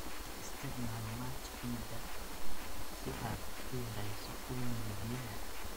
Isticmaal mulch ciidda si aad u yareyso uumiga biyaha.